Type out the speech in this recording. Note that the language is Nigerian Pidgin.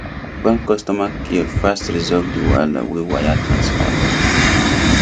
bank customer care fast resolve the wahala wey wire transfer cause